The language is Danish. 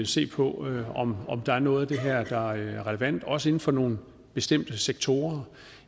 se på om der er noget af det her der er relevant også inden for nogle bestemte sektorer